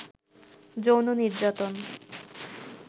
যৌন নির্যাতন